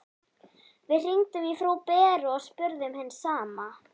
Við hringdum í frú Beru og spurðum hins sama.